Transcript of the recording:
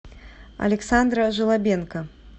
александра желобенко